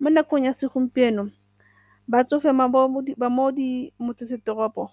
Mo nakong ya segompieno, batsofe ba mo motsesetoropo